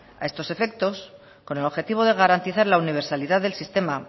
a estos efectos con el objetivo de garantizar la universalidad del sistema